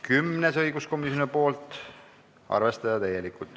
Kümnes on õiguskomisjonilt, arvestada täielikult.